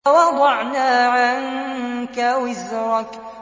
وَوَضَعْنَا عَنكَ وِزْرَكَ